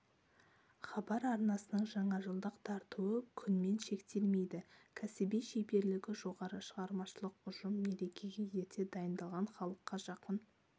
хабар арнасының жаңажылдық тартуы күнмен шектелмейді кәсіби шеберлігі жоғары шығармашалық ұжым мерекеге ерте дайындалған халыққа жақын